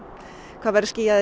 það verður skýjað í